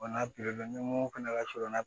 Wala ni mun fana ka sɔrɔ